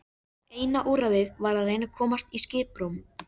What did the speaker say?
Eina úrræðið var að reyna að komast í skiprúm.